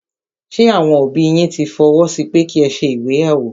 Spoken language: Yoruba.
Ṣé àwọn òbí yín tí fọwọ́ sí pẹ́ ki ẹ ṣe ìgbéyàwó?